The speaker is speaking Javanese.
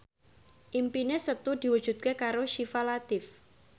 impine Setu diwujudke karo Syifa Latief